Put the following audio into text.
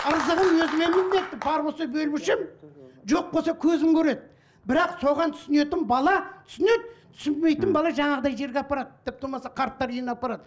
ырзығым өзіме міндетті бар болса бел мүшем жоқ болса көзім көреді бірақ соған түсінетін бала түсінеді түсінбейтін бала жаңағыдай жерге апарады тіпті болмаса қарттар үйіне апарады